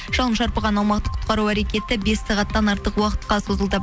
жалын шарпыған аумақты құтқару әрекеті бес сағаттан артық уақытқа созылды